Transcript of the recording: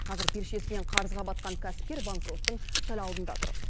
қазір белшесінен қарызға батқан кәсіпкер банкроттың сәл алдында тұр